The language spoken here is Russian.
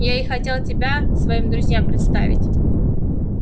я и хотел тебя своим друзьям представить